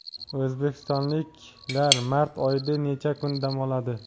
O‘zbekistonliklar mart oyida necha kun dam oladi?.